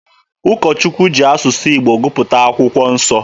Ụkọ Chukwu ji asụsụ Igbo gụpụta akwụkwọ nsọ.